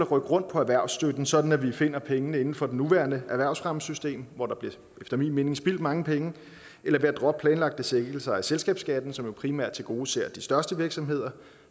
rykke rundt på erhvervsstøtten sådan at vi finder pengene inden for det nuværende erhvervsfremmesystem hvor der efter min mening bliver spildt mange penge eller ved at droppe planlagte sænkelser af selskabsskatten som jo primært tilgodeser de største virksomheder